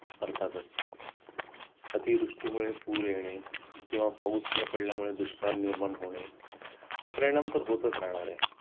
अर्थातच अतिवृष्टी मुळे पूर येणे किंवा पाऊस न पडल्या मुळे दुष्काळ निर्माण होणे हा परिणाम तर होतंच राहणार आहे